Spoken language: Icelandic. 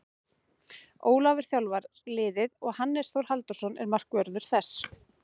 Ólafur þjálfar liðið og Hannes Þór Halldórsson er markvörður þess.